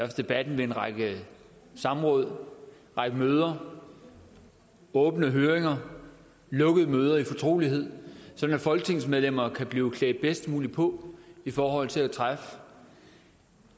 debat ved en række samråd en række møder åbne høringer lukkede møder i fortrolighed sådan at folketingsmedlemmer kan blive klædt bedst muligt på i forhold til at træffe